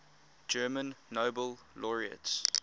german nobel laureates